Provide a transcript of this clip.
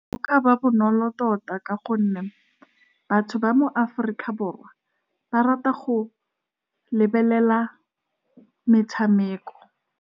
Go ka ba bonolo tota ka gonne batho ba mo Aforika Borwa, ba rata go lebelela metshameko.